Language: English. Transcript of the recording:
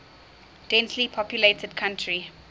densely populated country